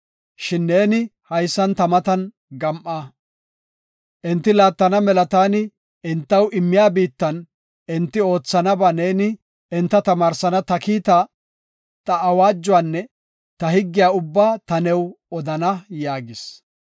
Shin neeni haysan ta matan gam7a. Enti laattana mela taani entaw immiya biittan enti oothanaba neeni enta tamaarsana ta kiita, ta awaajuwanne ta higgiya ubbaa ta new odana” yaagis.